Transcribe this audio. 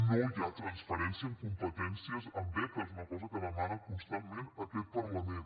no hi ha transferència de competències en beques una cosa que demana constantment aquest parlament